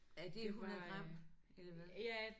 Er det 100 gram? Eller hvad